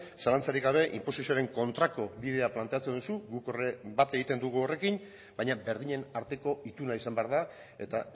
zalantzarik gabe inposizioaren kontrako bidea planteatzen duzu guk bat egiten dugu horrekin baina berdinen arteko ituna izan behar da eta